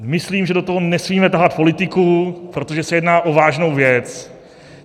Myslím, že do toho nesmíme tahat politiku, protože se jedná o vážnou věc.